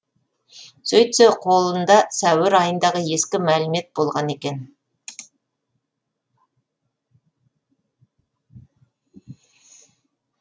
сөйтсе қолында сәуір айындағы ескі мәлімет болған екен